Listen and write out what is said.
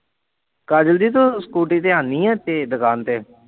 ਕਾਜਲ ਦੀ ਤੂੰ ਸਕੂਟੀ ਤੇ ਆਉਨੀ ਹੈ ਏਥੇ ਦੁਕਾਨ ਤੇ?